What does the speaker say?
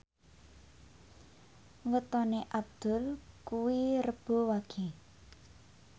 wetone Abdul kuwi Rebo Wage